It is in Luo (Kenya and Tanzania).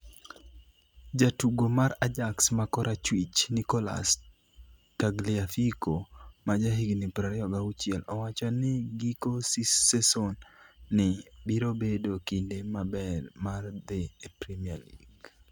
(Standard) Jatugo mar Ajax ma korachwich, Nicolas Tagliafico, ma jahigni 26, owacho ni giko seson ni birobedo kinde maber mar dhi e Premier League.